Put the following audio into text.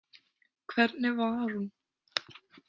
Hvernig var hún?